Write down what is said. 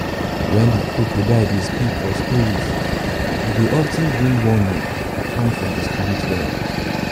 wen de crocodile dey speak for stories it dwy of ten bring warnings come from de spirit realm